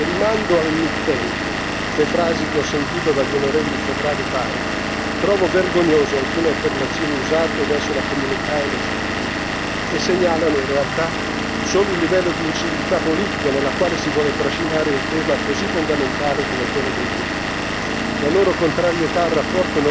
Per questo voglio dire con molta forza che rimando al mittente le frasi che ho sentito dagli onorevoli Chauprade e Bay trovo vergognose alcune affermazioni usate verso la comunità LGBT, che segnalano in realtà solo il livello di inciviltà politica nella quale si vuole trascinare un tema così fondamentale come quello dei diritti.